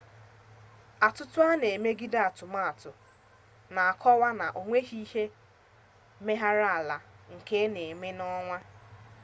atụtụ a na-emegide atụmatụ na-akọwa na o nweghi ihe mmegharị ala nke n'eme n'ọnwa